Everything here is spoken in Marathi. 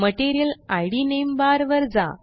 मटीरियल इद नामे बार वर जा